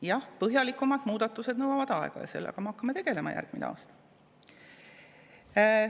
Jah, põhjalikumad muudatused nõuavad aega ja nendega me hakkame tegelema järgmine aasta.